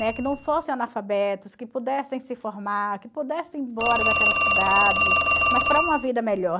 Né? Que não fossem analfabetos, que pudessem se formar, que pudessem ir embora daquela cidade, mas para uma vida melhor.